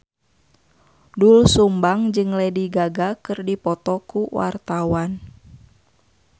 Doel Sumbang jeung Lady Gaga keur dipoto ku wartawan